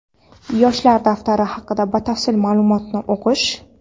Yoshlar daftari haqida batafsil maʼlumotni o‘qish.